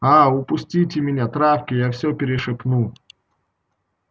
аа упустите меня травке я всё перешепну